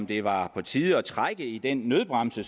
det var på tide at trække i den nødbremse